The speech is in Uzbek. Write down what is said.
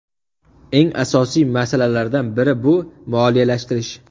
Eng asosiy masalalardan biri bu moliyalashtirish.